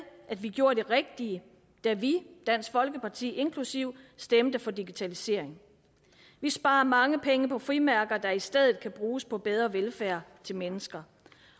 at vi gjorde det rigtige da vi dansk folkeparti inklusive stemte for digitalisering vi sparer mange penge på frimærker der i stedet kan bruges på bedre velfærd til mennesker